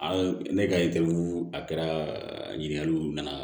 An ne ka a kɛra ɲininkaliw nana